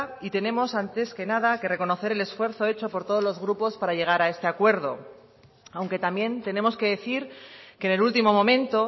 y tenemos antes que nada que reconocer el esfuerzo hecho por todos los grupos para llegar a este acuerdo aunque también tenemos que decir que en el último momento